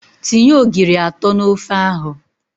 Tinye ogiri atọ n'ofe ahụ!